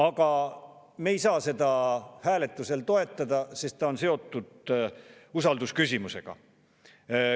Aga me ei saa seda hääletusel toetada, sest on seotud usaldusküsimusega.